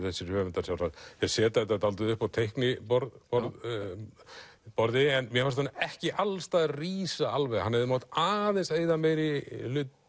þessir höfundar sjálfsagt þeir setja þetta dálítið upp á teikniborði en mér fannst hann ekki alls staðar rísa alveg hann hefði mátt aðeins eyða meiri